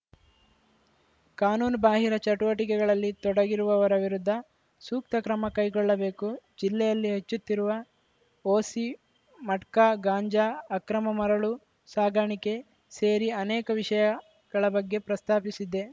ಕಾನೂನು ಬಾಹಿರ ಚಟುವಟಿಕೆಗಳಲ್ಲಿ ತೊಡಗಿರುವವರ ವಿರುದ್ಧ ಸೂಕ್ತ ಕ್ರಮ ಕೈಗೊಳ್ಳಬೇಕು ಜಿಲ್ಲೆಯಲ್ಲಿ ಹೆಚ್ಚುತ್ತಿರುವ ಓಸಿ ಮಟ್ಕಾ ಗಾಂಜಾ ಅಕ್ರಮ ಮರಳು ಸಾಗಾಣಿಕೆ ಸೇರಿ ಅನೇಕ ವಿಷಯಗಳ ಬಗ್ಗೆ ಪ್ರಸ್ತಾಪಿಸಿದ್ದೆ